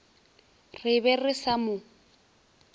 re be re sa mo